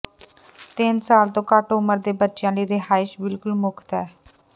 ਤਿੰਨ ਸਾਲ ਤੋਂ ਘੱਟ ਉਮਰ ਦੇ ਬੱਚਿਆਂ ਲਈ ਰਿਹਾਇਸ਼ ਬਿਲਕੁਲ ਮੁਫਤ ਹੈ